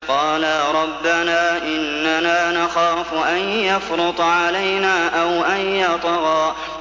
قَالَا رَبَّنَا إِنَّنَا نَخَافُ أَن يَفْرُطَ عَلَيْنَا أَوْ أَن يَطْغَىٰ